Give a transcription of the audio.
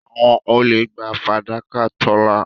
Àwọn olè gba fàdákà Tọ́lá.